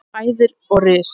hæðir og ris.